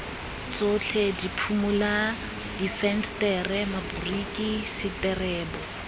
tsotlhe diphimola difensetere maboriki seterebo